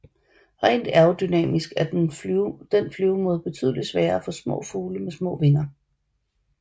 Rent aerodynamisk er den flyvemåde betydeligt sværere for små fugle med små vinger